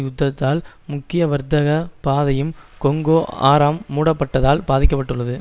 யுத்தாத்தால் முக்கிய வர்த்தக பாதையும் கொங்கொ ஆறாம் மூடப்பட்டதால் பாதிக்க பட்டுள்ளது